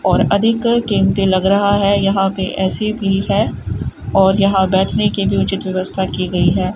और अधिक कीमती लग रहा है यहां पे ए_सी भी है और यहां बैठने की भी उचित व्यवस्था की गई है।